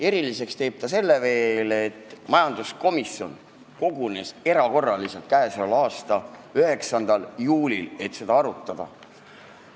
Eriliseks teeb eelnõu veel see, et majanduskomisjon kogunes erakorraliselt k.a 9. juulil, et seda arutada.